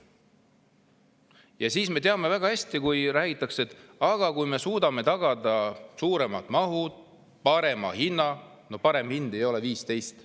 Ja me teame väga hästi, et räägitakse, et kui me suudame tagada suuremad mahud ja parema hinna – no 15 senti ei ole parem hind!